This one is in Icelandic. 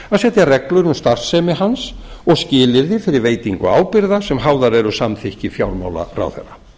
að setja reglur um starfsemi hans og skilyrði fyrir veitingu ábyrgða sem háðar eru samþykki fjármálaráðherra